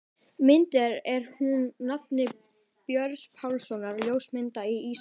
Myndin er úr safni Björns Pálssonar, ljósmyndara á Ísafirði.